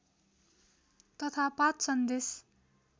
तथा पाठ सन्देश